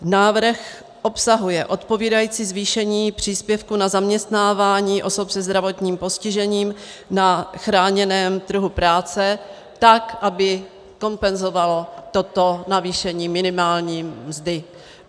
Návrh obsahuje odpovídající zvýšení příspěvku na zaměstnávání osob se zdravotním postižením na chráněném trhu práce, tak aby kompenzovalo toto navýšení minimální mzdy.